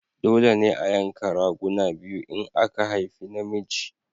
Dole ne a yanka raguna biyu in aka haifi na miji